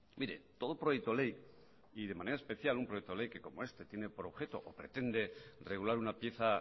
mire todo proyecto ley y de manera especial un proyecto ley que como este tiene por objeto o pretende regular una pieza